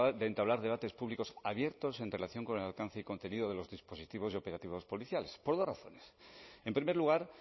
de entablar debates públicos abiertos en relación con el alcance y contenido de los dispositivos y operativos policiales por dos razones en primer lugar